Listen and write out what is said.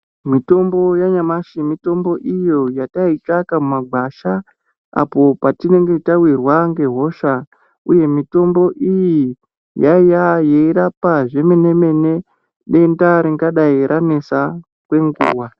Mitombo ya nyamashi mitombo iyo yatai tsvaka mu magwasha apo patinenge tawirwa nge hosha uye mitombo iyi yaaiya yei rapa zve mene mene denda ringadai ranesa kwe nguva.